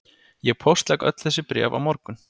Ég póstlegg öll þessi bréf á morgun